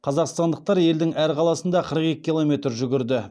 қазақстандықтар елдің әр қаласында қырық екі километр жүгірді